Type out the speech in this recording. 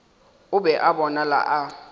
o be a bonala a